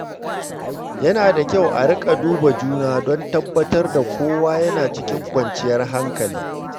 Yana da kyau a riƙa duba juna don tabbatar da kowa yana cikin kwanciyar hankali.